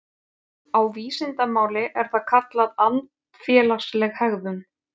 Á vísindamáli er það kallað andfélagsleg hegðun.